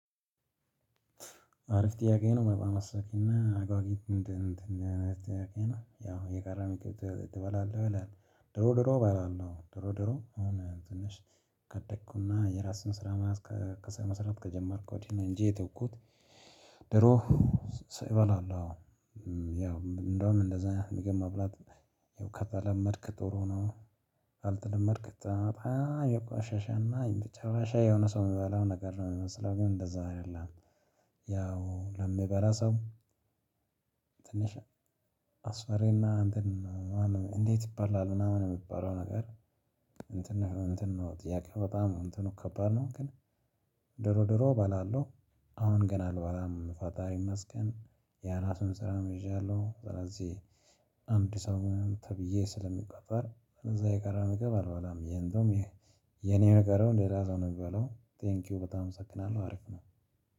አሪፍ ጥያቄ ነው አመሰግንና አጉጊ እንትን እንትን አይነት ጥያቄ ነው ያው የቀረ ምግብ ትበላለህ? ይላል ድሮ ድሮ እበላለሁ ድሮ ድሮ አሁን ትንሽ ካደግኩና የራሴን ስራ መስራት ከጀመርኩ ወዲህ እኔ እንጂ የተውኩት። ድሮ እበላለሁ አዎ። ያው እንደውም እንደዛ ምግብ መብላት ያው ከተለመድክ ጥሩ ነው። ካልተለመድክ በጣም የቆሸሸና የመጨረሻ የሆነ ሰው የሚባለው ነገር ነው የሚመስለው ግን እንደዛ አይደለም። ያው ለምበላ ሰው። ትንሽ አስፈሪና እንትን። እንዴት ይባላል ምናምን የሚባለው ነገር። እንትን ነው እንትን ነው ጥያቄው በጣም እንትኑ ከባድ ነው። ግን ድሮ ድሮ እበላለሁ። አሁን ገና አልበላም ፈጣሪ ይመስገን የራሴም ስራም ይዣለሁ። ስለዚህ አንድ ሰሙን ተብዬ ስለምቆጠር እዛ የቀረ ምግብ አልበላም። የኔ የቀረው ሌላ ሰው ነው የሚበላው ቴንኪው በጣም እመሰግናለሁ አረፍ ነው